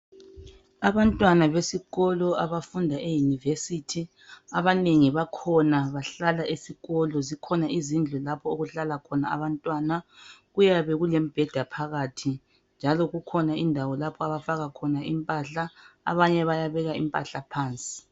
Abantwana besikolo abafunda e university abanengi bahlala esikolo kukhona izindlu lapho okuhlala khona abantwana kuyabe kulemibheda phakathi njalo kukhona indawo lapho abafaka khona impahla abanye batabeka impahla phansi